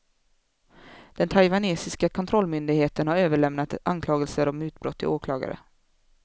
Den taiwanesiska kontrollmyndigheten har överlämnat anklagelser om mutbrott till åklagare.